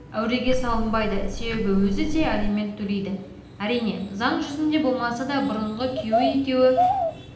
әуреге салынбайды себебі өзі де алимент төлейді әрине заң жүзінде болмаса да бұрынғы күйеуі екеуі